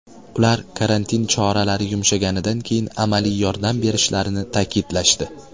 Ular karantin choralari yumshaganidan keyin amaliy yordam berishlarini ta’kidlashdi.